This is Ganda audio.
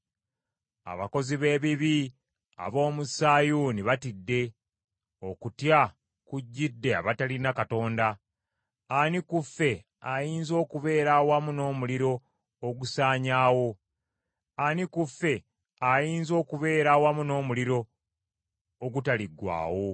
Abakozi b’ebibi ab’omu Sayuuni batidde, okutya kujjidde abatalina Katonda. “Ani ku ffe ayinza okubeera awamu n’omuliro ogusaanyaawo? Ani ku ffe ayinza okubeera awamu n’omuliro ogutaliggwaawo?”